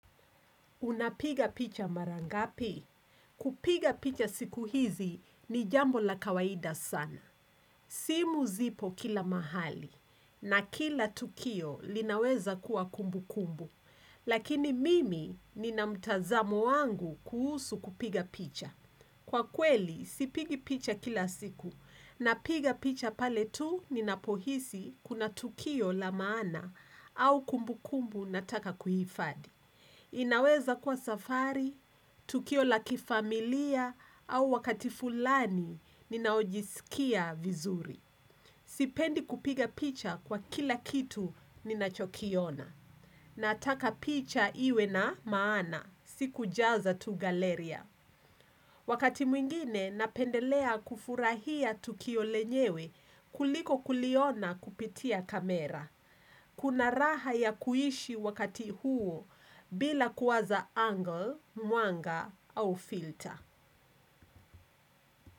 Unapiga picha mara ngapi? Kupiga picha siku hizi ni jambo la kawaida sana. Simu zipo kila mahali na kila tukio linaweza kuwa kumbukumbu. Lakini mimi ninamtazamo wangu kuhusu kupiga picha. Kwa kweli, sipigi picha kila siku napiga picha pale tu ninapohisi kuna tukio la maana au kumbukumbu nataka kuhifadhi. Inaweza kuwa safari, tukio lakifamilia au wakati fulani ninaojisikia vizuri. Sipendi kupiga picha kwa kila kitu ninachokiona. Nataka picha iwe na maana, si kujaza tu galeria. Wakati mwingine napendelea kufurahia tukio lenyewe kuliko kuliona kupitia kamera. Kuna raha ya kuhishi wakati huo bila kuwaza angle, mwanga au filter.